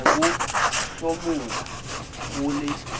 ne bo hlomola ho le